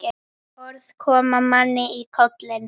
Orð koma manni í koll.